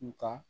Nga